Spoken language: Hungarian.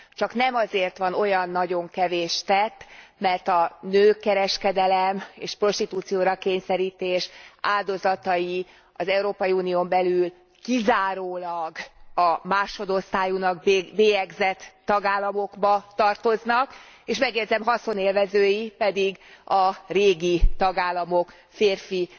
Csak nem azért van olyan nagyon kevés tett, mert a nőkereskedelem és a prostitúcióra kényszerítés áldozatai az Európai Unión belül kizárólag a másodosztályúnak bélyegzett tagállamokba tartoznak, és megjegyzem haszonélvezői pedig a régi tagállamok férfi